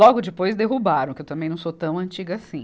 Logo depois derrubaram, que eu também não sou tão antiga assim.